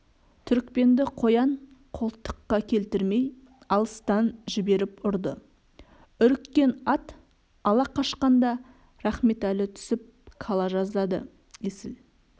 түрікпенді қоян қолтыққа келтірмей алыстан жіберіп ұрды үріккен ат ала қашқанда рахметәлі түсіп кала жаздады есіл